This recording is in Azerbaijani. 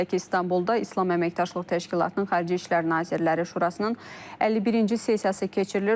Belə ki, İstanbulda İslam Əməkdaşlıq Təşkilatının Xarici İşlər Nazirləri Şurasının 51-ci sessiyası keçirilir,